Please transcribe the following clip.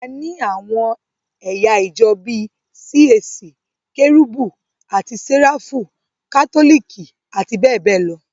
A ni àwọn ẹ̀yà ìjọ bíi CAC, Kérúbù àti séráfù, Kátólìkì, àti bẹ́ẹ̀bẹ́ẹ̀ lọ.